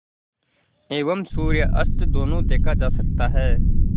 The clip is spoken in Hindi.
एवं सूर्यास्त दोनों देखा जा सकता है